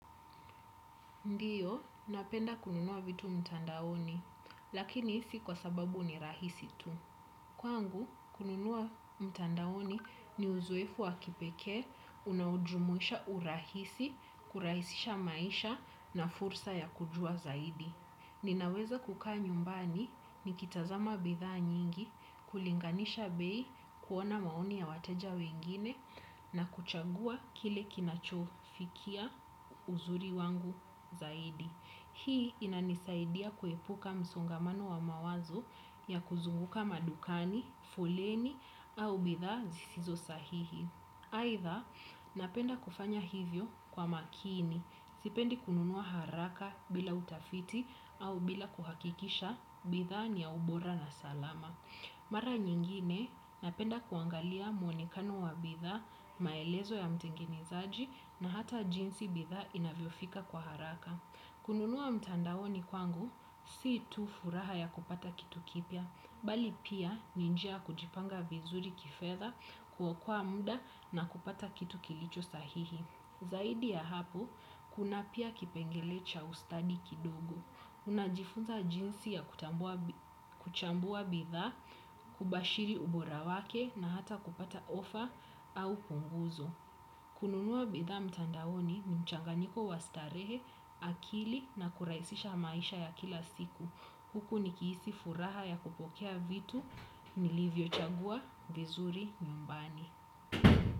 Ndiyo, napenda kununua vitu mtandaoni, lakini si kwa sababu ni rahisi tu. Kwangu, kununua mtandaoni ni uzoefu wa kipekee unaojumuisha urahisi, kurahisisha maisha na fursa ya kujua zaidi. Ninaweza kukaa nyumbani nikitazama bithaa nyingi kulinganisha bei, kuona maoni ya wateja wengine na kuchagua kile kinachofikia uzuri wangu zaidi. Hii inanisaidia kuepuka msongamano wa mawazo ya kuzunguka madukani, foleni au bitha zisizo sahihi. Aitha napenda kufanya hivyo kwa makini, sipendi kununuwa haraka bila utafiti au bila kuhakikisha bithaa ni ya ubora na salama. Mara nyingine napenda kuangalia muonekano wa bithaa, maelezo ya mtengenezaji na hata jinsi bithaa inavyo fika kwa haraka. Kununua mtandaoni kwangu, si tu furaha ya kupata kitu kipya, bali pia ni njia ya kujipanga vizuri kifedha, kuokoa muda na kupata kitu kilicho sahihi. Zaidi ya hapo, kuna pia kipengele cha ustadi kidogo. Unajifunza jinsi ya kutambua kuchambua bithaa, kubashiri ubora wake na hata kupata ofa au punguzo. Kununuwa bitha mtandaoni ni mchanganiko wa starehe, akili na kurahisisha maisha ya kila siku. Huku nikihisi furaha ya kupokea vitu nilivyo chagua vizuri nyumbani.